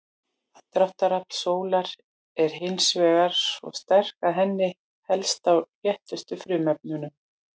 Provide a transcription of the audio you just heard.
Aðdráttarafl sólar er hins vegar svo sterkt að henni helst á léttustu frumefnunum.